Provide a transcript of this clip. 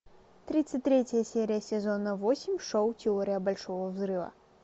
тридцать третья серия сезона восемь шоу теория большого взрыва